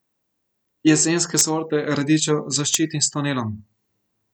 Jesenske sorte radičev zaščitim s tunelom.